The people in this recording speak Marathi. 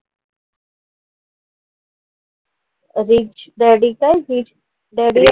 Rich daddy काय? rich daddy